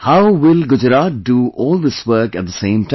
How will Gujarat do all this work at the same time